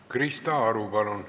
Krista Aru, palun!